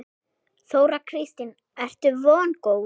Þóra Kristín: Ertu vongóð?